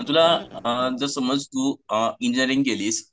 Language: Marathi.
तुला जर समज तू इंजिनिअरिंग केलीस